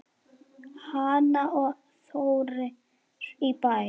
Hanna og Þórir í Bæ.